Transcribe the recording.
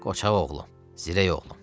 Qoçağ oğlum, zirək oğlum.